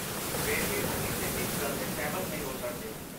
ਫਿਰ ਵੀ ਉਹ ਕਿਸੇ ਇੱਕ ਗੱਲ 'ਤੇ ਸਹਿਮਤ ਨਹੀਂ ਹੋ ਸਕਦੇ।